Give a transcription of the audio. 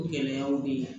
O gɛlɛyaw bɛ ye